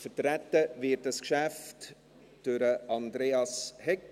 Vertreten wird dieses Geschäft durch Andreas Hegg.